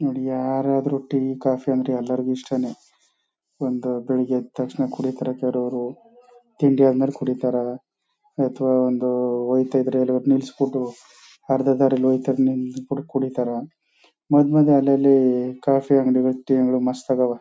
ನೋಡಿ ಯಾರಾದ್ರೂ tea coffee ಅಂದ್ರೆ ಎಲ್ಲರಿಗೂ ಇಷ್ಟನೇ ಒಂದು ಬೆಳಿಗ್ಗೆ ಎಡ್ ತಕ್ಷಣ ಕುಡಿತಾರೆ. ಕೆಲವರು ತಿಂಡಿ ಆದ್ಮೇಲ್ ಕುಡಿತಾರಾ ಅಥವಾ ಒಂದು ಹೋಯ್ತಾ ಇದ್ರೆ ಎಲ್ಲಾದ್ರೂ ನೀಳ್ಸ್ಬಿಟ್ಟು ಅರ್ಧ ದಾರಿಲ್ ಹೋಯ್ತಾ ನಿಂತ್ಬಿಟ್ ಕುಡಿತಾರಾ. ಮದ್ಮದ್ಯ ಅಲಲ್ಲಿ ಕಾಫಿ ಅಂಗಡಿಗಳು ಟೀ ಅಂಗಡಿಗಳು ಮಸ್ತಾಗವ.